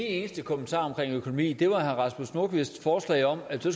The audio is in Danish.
eneste kommentar omkring økonomien var herre rasmus nordqvists forslag om at der